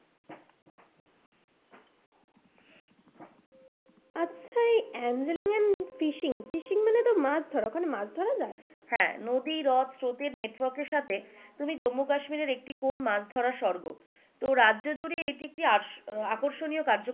আচ্ছা এই angling and fishing, fishing মানে তো মাছ ধরা, ওখানে মাছ ধরা যায়? হ্যাঁ, নদী নদ স্রোতের নেটওয়ার্কের সাথে জম্মু কাশ্মীরের একটি কোন মাছ ধরার স্বর্গ তো রাজ্য জুড়ে এটি একটি আকর্ষণীয় কার্য কলাপ,